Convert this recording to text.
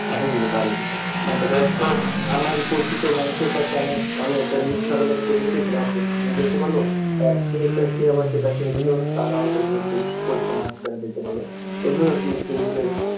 পাঠাই দিতে পারি আমার পরিচিত মানুষের কাছে আমার আমি একটা news ছাপাইলাম ফেসবুকে সেটাও দেখতে পারল আবার সে একটা সে আবার সেটা ছেড়ে দিল তার আবার পরিচিত দিক পরিচিত মানুষের দ্বারা দেখতে পারল, এইভাবে আরকি ফেসবুকে